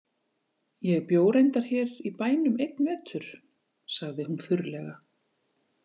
Ég bjó reyndar hér í bænum einn vetur, sagði hún þurrlega.